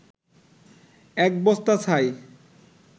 এক বস্তা ছাই